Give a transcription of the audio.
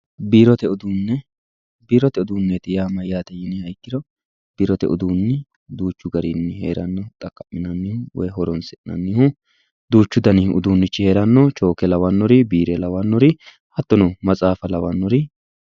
Biirote uduune, biirote uduune yaa mayate yinniha ikkiro biirote uduuni duuchu garinni heerano xaqaminanni woyi horonsi'nannihu duuchu danni uduuni heerano choke lawanori, biire lawanori hattono matsafa lawanori.